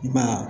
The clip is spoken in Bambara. I ma ye